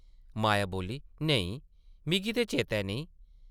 माया बोल्ली, ‘‘नेईं, मिगी ते चेतै नेईं ।’’